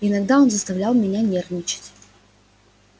иногда он заставлял меня нервничать